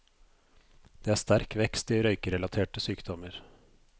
Det er sterk vekst i røykerelaterte sykdommer.